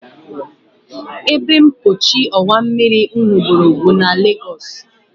Ebempochi ọwa mmiri m hụgoro bụ na Legos